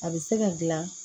A bɛ se ka dilan